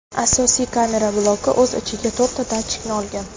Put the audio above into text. Asosiy kamera bloki o‘z ichiga to‘rtta datchikni olgan.